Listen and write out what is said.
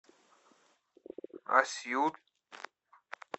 асьют